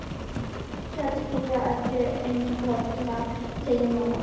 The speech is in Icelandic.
Maður hugsar skýrar eftir einn bolla, segir mamma.